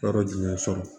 Yɔrɔ jumɛn sɔrɔ